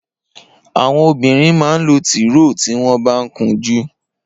Awọn óbìrín mà n ló tìróò tiwọn bà n kúnjù